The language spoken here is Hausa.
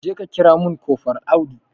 Jeka kira mun kofral Audu